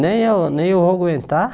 Nem eu nem eu vou aguentar.